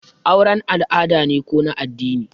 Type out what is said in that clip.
auren al'ada ne ko na addini?